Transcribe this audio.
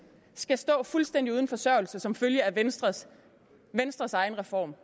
skal stå fuldstændig uden forsørgelse som følge af venstres venstres egen reform